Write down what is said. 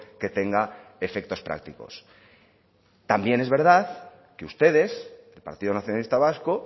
que tenga efectos prácticos también es verdad que ustedes el partido nacionalista vasco